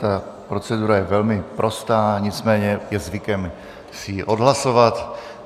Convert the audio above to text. Ta procedura je velmi prostá, nicméně je zvykem si ji odhlasovat.